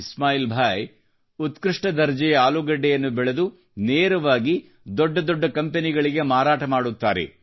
ಇಸ್ಲಾಯಿಲ್ ಭಾಯಿ ಉತ್ಕøಷ್ಟ ದರ್ಜೆಯ ಆಲೂಗೆಡ್ಡೆಯನ್ನು ಬೆಳೆದು ನೇರವಾಗಿ ದೊಡ್ಡ ದೊಡ್ಡ ಕಂಪನಿಗಳಿಗೆ ಮಾರಾಟ ಮಾಡುತ್ತಾರೆ